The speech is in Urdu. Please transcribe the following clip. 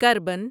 کربن